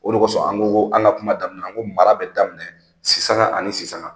O de kɔsɔn an go an ka kuma daminɛ ko mara bi daminɛ si sanga ani si sanga